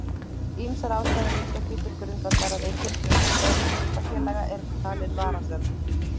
Ýmsar ástæður liggja því til grundvallar að eigin hlutafjáreign hlutafélaga er talin varasöm